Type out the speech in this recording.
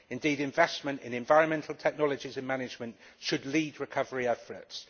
Indeed, investment in environmental technologies in management should lead recovery efforts.